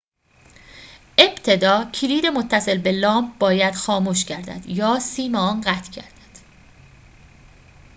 ابتدا کلید متصل به لامپ باید خاموش گردد یا سیم آن قطع گردد